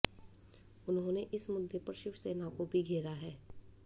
उन्होंने इस मुद्दे पर शिवसेना को भी घेरा है